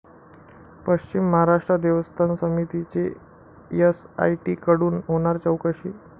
पश्चिम महाराष्ट्र देवस्थान समितीची एसआयटीकडून होणार चौकशी